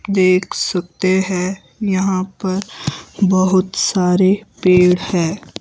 देख सकते हैं यहां पर बहुत सारे पेड़ है।